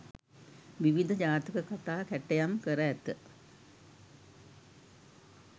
විවිධ ජාතක කථා කැටයම් කර ඇත.